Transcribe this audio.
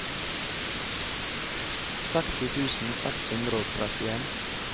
seksti tusen seks hundre og trettien